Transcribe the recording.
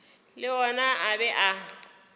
le ona a be a